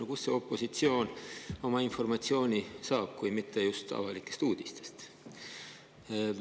No kust see opositsioon oma informatsiooni saab kui mitte just avalikest uudistest?